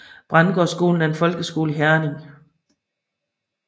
Brændgårdskolen er en folkeskole i Herning